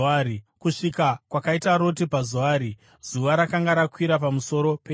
Kusvika kwakaita Roti paZoari, zuva rakanga rakwira pamusoro penyika.